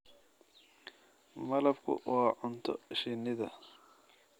Malabku waa cunto shinnida.